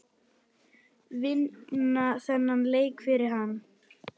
Vinna þennan leik fyrir hann!